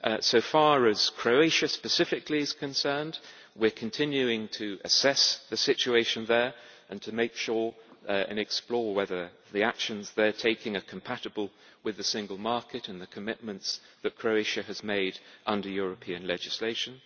So as far as Croatia is specifically concerned, we are continuing to assess the situation there and to make sure and explore whether the actions they are taking are compatible with the single market and the commitments that Croatia has made under European legislation.